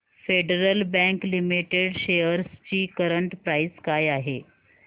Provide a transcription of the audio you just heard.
federal Bank Limited shares ची current price काय आहे